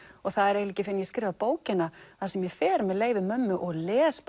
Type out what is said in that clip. það er ekki fyrr en ég skrifa bókina sem ég fer með leyfi mömmu og les